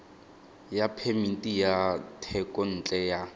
ya phemiti ya thekontle ya